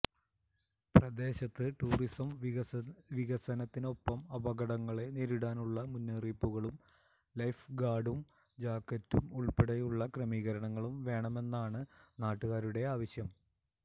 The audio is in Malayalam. പ്രദേശത്ത് ടൂറിസം വികസനത്തിനൊപ്പം അപകടങ്ങളെ നേരിടാനുളള മുന്നറിയിപ്പുകളും ലൈഫ് ഗാർഡും ജാക്കറ്റും ഉൾപ്പടെയുളള ക്രമീകരണങ്ങളും വേണമെന്നാണ് നാട്ടുകാരുടെ ആവശ്യം